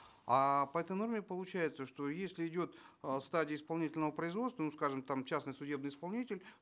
а по этой норме получается что если идет э стадия исполнительного производства ну скажем там частный судебный исполнитель